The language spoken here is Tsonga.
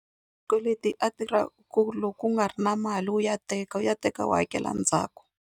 a tirha ku loko u nga ri na mali wu ya teka wu ya teka wu hakela ndzhaku.